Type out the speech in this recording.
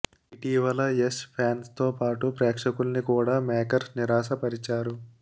ఇటీవల యష్ ఫ్యాన్స్ తో పాటు ప్రేక్షకుల్ని కూడా మేకర్స్ నిరాశపరిచారు